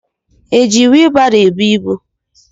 Eji whielu barô ebú ịbụ.